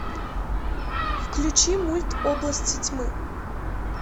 включи мульт области тьмы